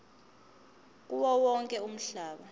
kuwo wonke umhlaba